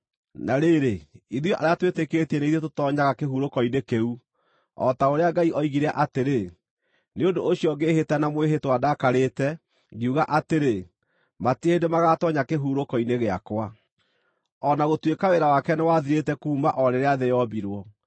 Na rĩrĩ, ithuĩ arĩa twĩtĩkĩtie nĩ ithuĩ tũtoonyaga kĩhurũko-inĩ kĩu, o ta ũrĩa Ngai oigire atĩrĩ, “Nĩ ũndũ ũcio ngĩĩhĩta na mwĩhĩtwa ndakarĩte, ngiuga atĩrĩ, ‘Matirĩ hĩndĩ magaatoonya kĩhurũko-inĩ gĩakwa.’ ” O na gũtuĩka wĩra wake nĩwathirĩte kuuma o rĩrĩa thĩ yombirwo.